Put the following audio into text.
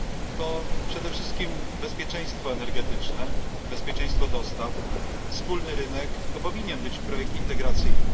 To przede wszystkim bezpieczeństwo energetyczne, bezpieczeństwo dostaw, wspólny rynek to powinien być projekt integracyjny.